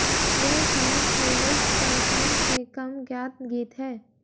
यह शायद प्लेलिस्ट पर कम से कम ज्ञात गीत है